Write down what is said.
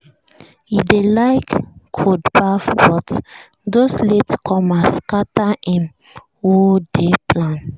e dey like cold baff but those late comers scatter him whole day plan.